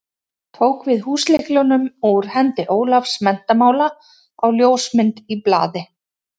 Tók við húslyklunum úr hendi Ólafs menntamála á ljósmynd í blaði.